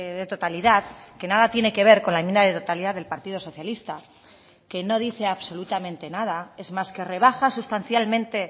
de totalidad que nada tiene que ver con la enmienda de totalidad del partido socialista que no dice absolutamente nada es más que rebaja sustancialmente